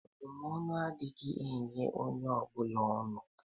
Abụmọnụ adịghị enye onye ọ bụla ọnụ.